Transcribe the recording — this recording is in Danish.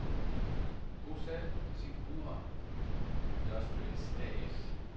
Bosal Sekura Industries A/S